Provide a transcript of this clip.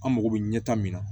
An mako bɛ ɲɛta min na